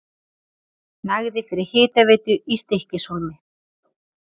Nægði fyrir hitaveitu í Stykkishólmi.